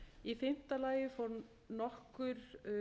í fimmta lagi fór nokkur